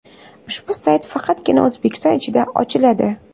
Ushbu sayt faqatgina O‘zbekiston ichida ochiladi.